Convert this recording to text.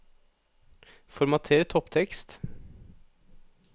Formater topptekst